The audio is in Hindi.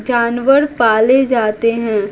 जानवर पाले जाते हैं।